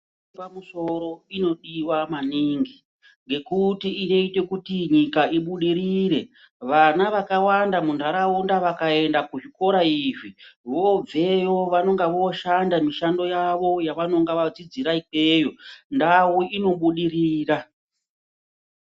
Pamusoro inodiwa maningi ngekuti inoite kuti nyika ibudirire vana vakawanda muntaraunda vakaende kuzvikora izvi vobveyo vanenge voshanda mushando yawo yavanenga vadzidzira ikweyo ndau inobudirira.